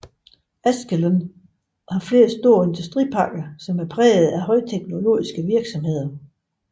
Ashkelon har flere store industriparker præget af højteknologiske virksomheder